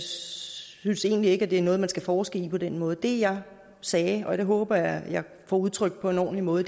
synes egentlig ikke at det er noget man skal forske i på den måde det jeg sagde og det håber jeg at jeg får udtrykt på en ordentlig måde